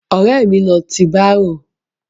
Ọ̀rẹ́ mi ló ti bárò.